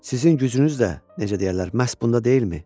Sizin gücünüz də, necə deyərlər, məhz bunda deyilmi?